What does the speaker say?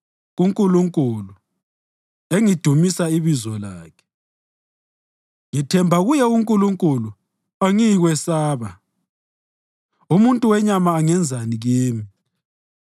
KuNkulunkulu, engidumisa ibizo lakhe, ngithemba kuye uNkulunkulu; angiyikwesaba. Umuntu wenyama angenzani kimi?